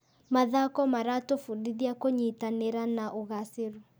Mathako maratũbundithia kũnyitanĩra na ũgacĩĩru.